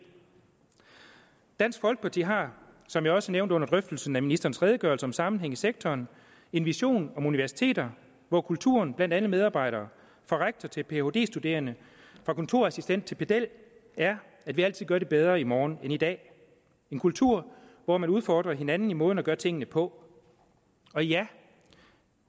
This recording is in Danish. dansk folkeparti har som jeg også nævnte under drøftelsen af ministerens redegørelse om sammenhæng i sektoren en vision om universiteter hvor kulturen blandt alle medarbejdere fra rektor til phd studerende fra kontorassistent til pedel er at vi altid gør det bedre i morgen end i dag en kultur hvor man udfordrer hinanden i måden at gøre tingene på og ja